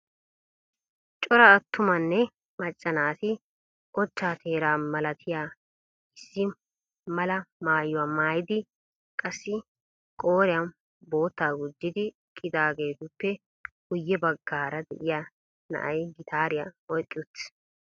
Cora attumanne macca naati ochcha teera malatiya issi malal maayyuwa maayyidi qassi qooriyan boottaa gujjidi eqqidaageetuppe guyye baggaara de'iyaa na'ay gitaariya oyqqi uttiis.